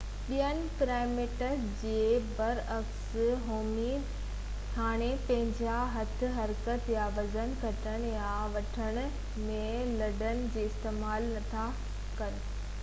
ٻيئن primates جي بر عڪس هومي نڊز هاڻي پنهنجا هٿ حرڪت يا وزن کڻڻ يا وڻڻ ۾ لڏڻ جي لاءِ استعمال نٿا ڪن